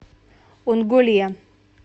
онголе